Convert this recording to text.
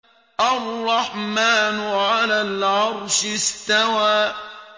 الرَّحْمَٰنُ عَلَى الْعَرْشِ اسْتَوَىٰ